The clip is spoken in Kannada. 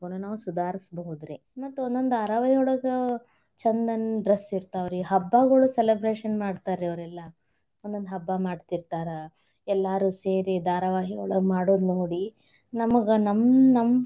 ನಾವ್ ಸುಧಾರಿಸಬಹುದ್ರಿ, ಮತ್ ಒಂದೊಂದ್ ಧಾರಾವಾಹಿಯೊಳಗ ಛಂದಂದ dress ಇರ್ತಾವ್ರಿ, ಹಬ್ಬಾಗೋಳ celebration ಮಾಡ್ತಾರಿ ಅವರೆಲ್ಲಾ. ಒಂದೊಂದ್ ಹಬ್ಬಾ ಮಾಡ್ತಿರ್ತಾರ. ಎಲ್ಲಾರೂ ಸೇರಿ ಧಾರಾವಾಹಿಯೊಳಗ ಮಾಡೋದು ನೋಡಿ, ನಮಗ ನಮ್ ನಮ್.